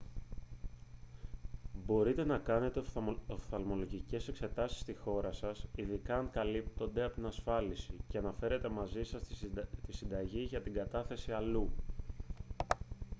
μπορείτε να κάνετε οφθαλμολογικές εξετάσεις στη χώρα σας ειδικά αν καλύπτονται από την ασφάλιση και να φέρετε μαζί σας τη συνταγή για να την καταθέσετε αλλού